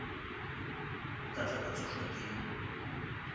nka tla ka tšhošwa ke